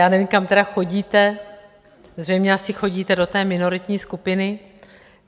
Já nevím, kam tedy chodíte, zřejmě asi chodíte do té minoritní skupiny.